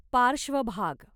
पार्श्वभाग